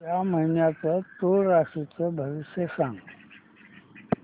या महिन्याचं तूळ राशीचं भविष्य सांग